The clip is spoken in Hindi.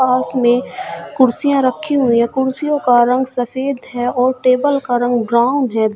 पास में कुर्सियां रखी हुई है कुर्सियों का रंग सफेद है और टेबल का रंग ब्राउन है।